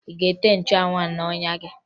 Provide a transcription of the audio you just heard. Ị ga-ete nchụanwụ ahụ n'ọnya gị!